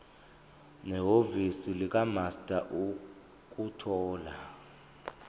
nehhovisi likamaster ukuthola